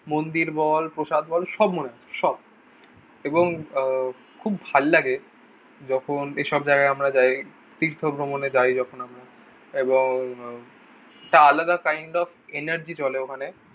মন্দির বল, প্রসাদ বল, সব মনে আছে সব। এবং আহ খুব ভাল্লাগে যখন এসব জায়গায় আমরা যাই তীর্থ ভ্রমণে যাই যখন আমরা। এবং একটা আলাদা kind of energy চলে ওখানে।